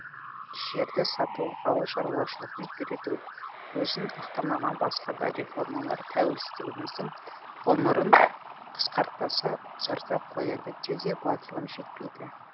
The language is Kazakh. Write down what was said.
жерді сату ауыл шаруашылығын күйрету өзін ақтамаған басқа да реформалар тәуелсіздігіміздің ғұмырын қысқартпаса ұзарта қояды деуге батылым жетпейді